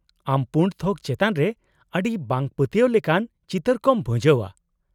-ᱟᱢ ᱯᱩᱸᱰ ᱛᱷᱚᱠ ᱪᱮᱛᱟᱱ ᱨᱮ ᱟᱹᱰᱤ ᱵᱟᱝᱯᱟᱹᱛᱭᱟᱣ ᱞᱮᱠᱟᱱ ᱪᱤᱛᱟᱹᱨ ᱠᱚᱢ ᱵᱷᱩᱡᱟᱹᱣᱼᱟ ᱾